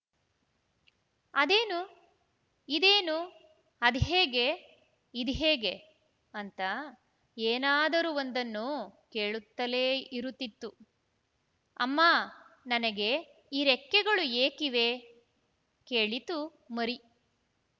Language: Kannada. ಅದೇನು ಇದೇನು ಅದ್ಹೇಗೆ ಇದ್ಹೇಗೆ ಅಂತ ಏನಾದರೂ ಒಂದನ್ನು ಕೇಳುತ್ತಲೇ ಇರುತ್ತಿತ್ತು ಅಮ್ಮ ನನಗೆ ಈ ರೆಕ್ಕೆಗಳು ಏಕಿವೆ ಕೇಳಿತು ಮರಿ